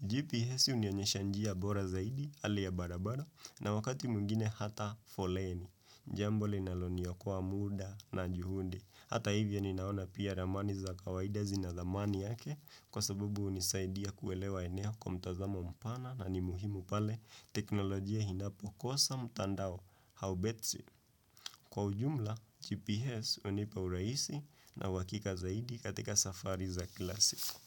GPS hunionyesha njia bora zaidi hali ya barabara na wakati mwingine hata foleni. Jambo linaloniokoa muda na juhudi Hata hivyo ninaona pia ramani za kawaida zinazamani yake Kwa sababu hunisaidia kuelewa eneo kwa mtazamo mpana na ni muhimu pale teknolojia inapo kosa mtandao au betri Kwa ujumla GPS hunipa uraisi na uhakika zaidi katika safari za kila siku.